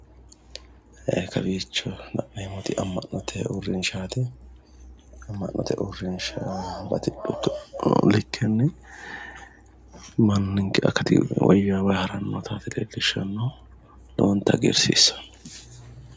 Kowiicho la'neemmoti amma'note uurrinshaati, amma'note uurrinsha batidhu likkenni manninke akati woyyaawanni haranni nootaati leellishshannohu lowontanni hagirsiisanno.